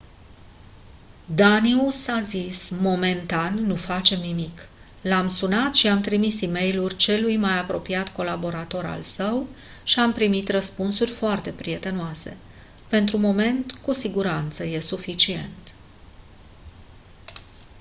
danius a zis: «momentan nu facem nimic. l-am sunat și i-am trimis e-mailuri celui mai apropiat colaborator al său și am primit răspunsuri foarte prietenoase. pentru moment cu siguranță e suficient.».